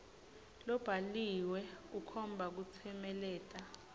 lobhaliwe ukhomba kutsemeleta